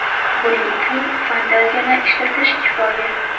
Buning uchun fanzatiyani ishlatish kifoya.